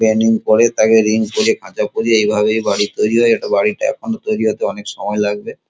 Planning করে তাকে ring করে তাকে খাঁচা করে এইভাবেই বাড়ি তৈরি হয় এই বাড়িটা তৈরি হতে এখনো অনেক সময় লাগবে।